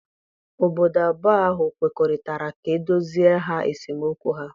Obodo abụọ ahụ kwekọrịtara ka e doziere ha esemokwu ha.